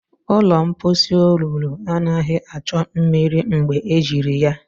Ụlọ mposi olulu anaghị achọ mmiri mgbe ejiri ya.